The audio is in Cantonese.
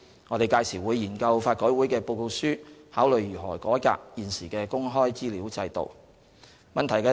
我們屆時會研究法改會的報告書，考慮如何改革現時的公開資料制度。